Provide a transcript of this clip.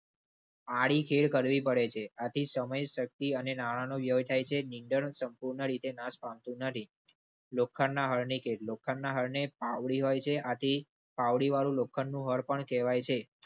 આડી ખેડ કરવી પડે છે. આથી સમય શક્તિ અને નાણાંનો વ્યય થાય છે. નીંદણ સંપૂર્ણ રીતે નાશ પામતું નથી. લોખંડના હરણી કેટલો લોખંડના હરણી પાવડી હોય છે. આથી પાવડી વાળું લોખંડનું હળ પણ કહેવાય છે.